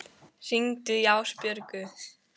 Smyrill, hringdu í Ásbjörgu.